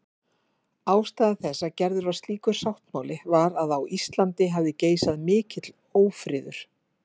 Ástæða þess að gerður var slíkur sáttmáli var að á Íslandi hafði geisað mikill ófriður.